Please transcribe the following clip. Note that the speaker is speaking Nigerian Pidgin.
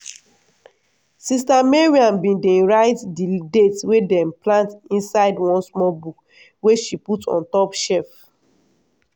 sis mariam bin dey write di date wey dem plant inside one small book wey she put on top shef.